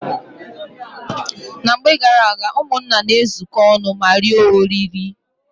Na mgbe garaaga, ụmụnna na-ezuko ọnụ ma rie oriri.